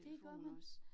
Det gør man